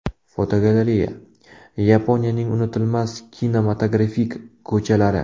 Fotogalereya: Yaponiyaning unutilmas kinematografik ko‘chalari.